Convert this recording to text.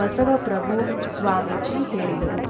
ಬಸವಪ್ರಭು ಸ್ವಾಮೀಜಿ ಹೇಳಿದರು